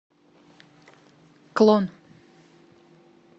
клон